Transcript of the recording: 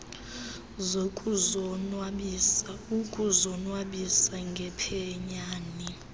zokuzonwabisa ukuzonwabisa ngephenyane